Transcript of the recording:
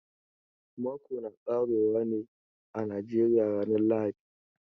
Mako na ƙare wa ne a Najeriya ranan lahadi.